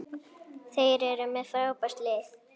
Þeir eru með frábært lið.